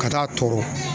Ka taa tɔɔrɔ